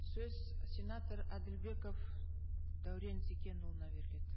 сөз сенатор әділбеков дәурен зекенұлына беріледі